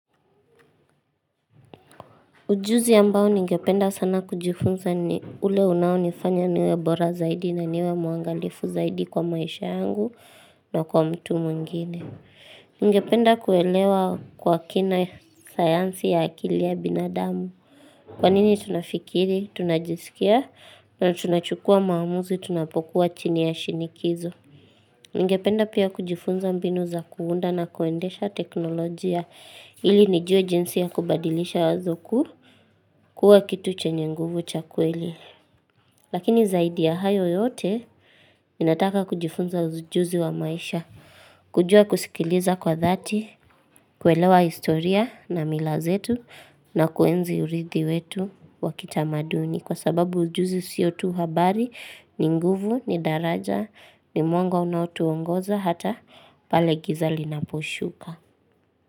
Ujuzi ambao ningependa sana kujifunza ni ule unao nifanya niwe bora zaidi na niwe muangalifu zaidi kwa maisha yangu na kwa mtu mwingine. Ningependa kuelewa kwa kina sayansi ya akili ya binadamu. Kwa nini tunafikiri, tunajisikia na tunachukua maamuzi tunapokuwa chini ya shinikizo. Ningependa pia kujifunza mbinu za kuunda na kuendesha teknolojia ili nijue jinsi ya kubadilisha wazo kuu kuwa kitu chenye nguvu cha kweli. Lakini zaidi ya hayo yote ninataka kujifunza ujuzi wa maisha. Kujua kusikiliza kwa dhati, kuelewa historia na milazetu na kuenzi uridhi wetu wa kitamaduni. Kwa sababu ujuzi sio tu habari, ni nguvu, ni daraja, ni mwango unao tuongoza hata pale giza linapushuka.